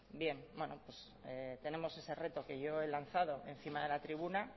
bien bueno pues tenemos ese reto que yo he lanzado encima de la tribuna